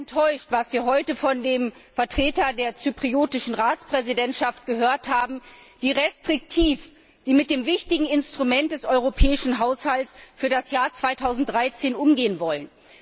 Ich bin sehr enttäuscht über das, was wir heute von dem Vertreter der zypriotischen Ratspräsidentschaft gehört haben, wie restriktiv sie mit dem wichtigen Instrument des Europäischen Haushalts für das Jahr 2013 umgehen wollen.